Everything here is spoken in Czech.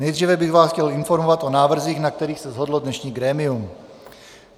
Nejdříve bych vás chtěl informovat o návrzích, na kterých se shodlo dnešní grémium.